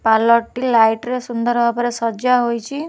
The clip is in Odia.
ପାର୍ଲର ଟି ଲାଇଟ ରେ ସୁନ୍ଦର ଭାବରେ ସଜା ହୋଇଛି ।